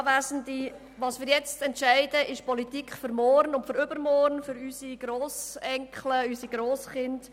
Was wir heute entscheiden, ist die Politik für morgen, für übermorgen, für unsere Grossenkel und Grosskinder.